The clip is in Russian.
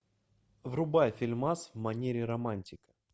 врубай фильмас в манере романтик